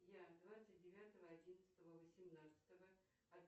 я двадцать девятого одиннадцатого восемнадцатого